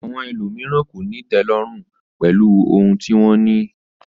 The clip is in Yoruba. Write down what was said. Àwọn ènìyàn mìíràn kò ní ìtẹ́lọ́rùn pẹ̀lú ohun tí wọ́n ní